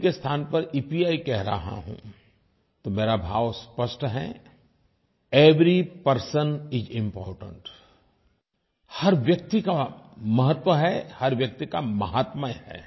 P के स्थान पर ईपीआई कह रहा हूँ तो मेरा भाव स्पष्ट है एवरी पर्सन इस इम्पोर्टेंट हर व्यक्ति का महत्व है हर व्यक्ति का माहात्म्य है